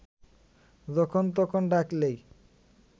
যখন তখন ডাকলেই